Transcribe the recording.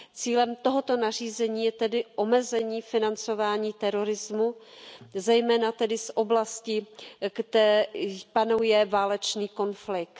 Cílem tohoto nařízení je tedy omezení financování terorismu, zejména tedy z oblastí, kde tedy panuje válečný konflikt.